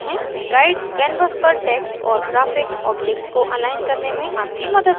guides canvas पर text और graphic objects को अलाइन करने में आपकी मदद करता है